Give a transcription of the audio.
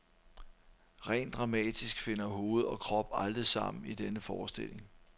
Rent dramatisk finder hoved og krop aldrig sammen i denne forestilling.